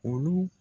Olu